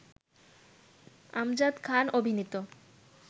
আমজাদ খান অভিনীত